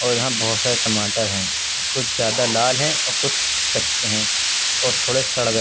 और यहा बहोत सारे टमाटर हैं कुछ ज्यादा लाल है और कुछ कच्चे हैं और थोड़े सड़ गए --